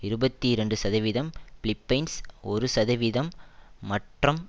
இருபத்தி இரண்டு சதவீதம் பிலிப்பைன்ஸ் ஒரு சதவிகிதம் மற்றம்